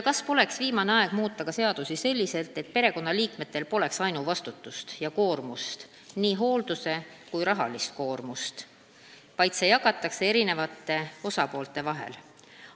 Kas poleks viimane aeg muuta seadusi selliselt, et perekonnaliikmetel poleks ainuvastutust ja koormust, nii hooldus- kui rahalist koormust, vaid see jagataks osapoolte vahel?